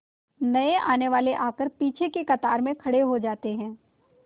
नए आने वाले आकर पीछे की कतार में खड़े हो जाते हैं